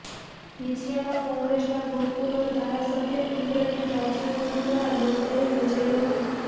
વીંછિયામાં કોંગ્રેસના ભૂતપૂર્વ ધારાસભ્ય ઇન્દ્રનીલ રાજ્યગુરૂ દ્વારા લોકડાયરો યોજાયો હતો